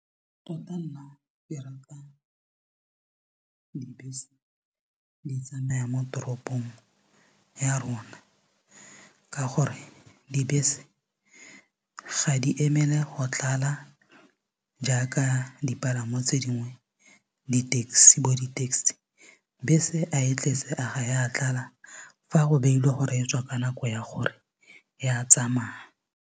tota nna ke rata dibese di tsamaya mo toropong ya rona ka gore dibese ga di emele go tlala jaaka dipalamo tse dingwe bo di-taxi bese a e tletse a ga ya tlala fa go beilwe gore e tswa ka nako ya gore ya tsamaya.